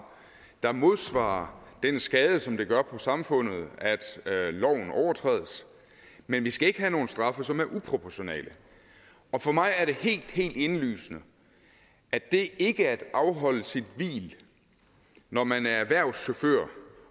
der modsvarer den skade som det gør på samfundet at loven overtrædes men vi skal ikke have nogle straffe som er uproportionale og for mig er det helt helt indlysende at det ikke at afholde sit hvil når man er erhvervschauffør